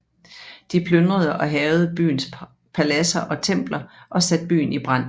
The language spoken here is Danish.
De plyndrede og hærgede byens paladser og templer og satte byen i brand